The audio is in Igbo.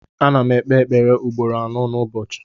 M na ekpe ekpere ugboro anọ nu ụbọchị.